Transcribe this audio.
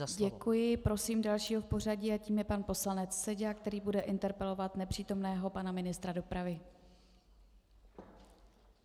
Děkuji Prosím dalšího v pořadí a tím je pan poslanec Seďa, který bude interpelovat nepřítomného pana ministra dopravy.